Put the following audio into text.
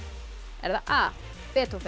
er það a